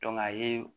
a ye